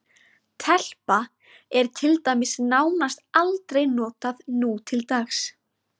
Telpa er til dæmis nánast aldrei notað nútildags.